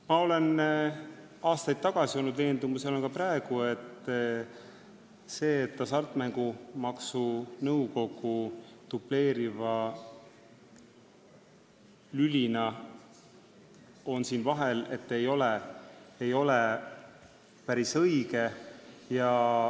Ma olen aastaid olnud veendumusel ja olen ka praegu, et see, et Hasartmängumaksu Nõukogu dubleeriva lülina on siin vahel, ei ole päris õige.